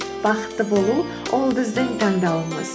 бақытты болу ол біздің таңдауымыз